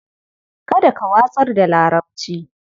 Kada ka watsar da larabci.